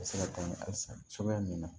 Se ka taa ni hali san cogoya min na